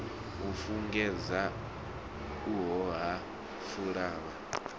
u fhungudzea uho ha pfala